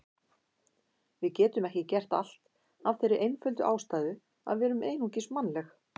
Við getum ekki gert allt af þeirri einföldu ástæðu að við erum einungis mannleg.